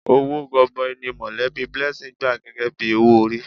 Owó gọbọi ni mọ̀lẹ́bí Blessing gbà gẹ́gẹ́ bí owó orí.